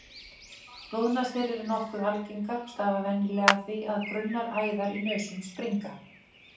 Blóðnasir eru nokkuð algengar og stafa venjulega af því að grunnar æðar í nösum springa.